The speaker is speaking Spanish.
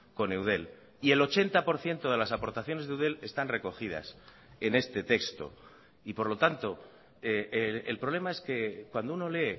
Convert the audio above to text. con eudel y el ochenta por ciento de las aportaciones de eudel están recogidas en este texto y por lo tanto el problema es que cuando uno lee